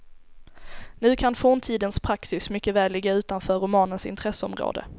Nu kan forntidens praxis mycket väl ligga utanför romanens intresseområde.